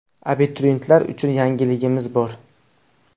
Abituriyentlar uchun yangiligimiz bor .